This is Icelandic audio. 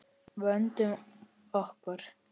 Vöndum okkur.